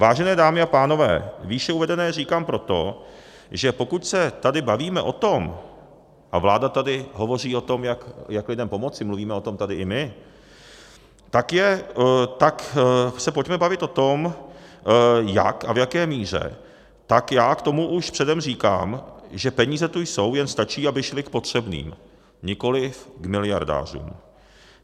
Vážené dámy a pánové, výše uvedené říkám proto, že pokud se tady bavíme o tom a vláda tady hovoří o tom, jak lidem pomoci, mluvíme o tom tady i my, tak se pojďme bavit o tom, jak a v jaké míře, tak já k tomu už předem říkám, že peníze tu jsou, jen stačí, aby šly k potřebným, nikoliv k miliardářům.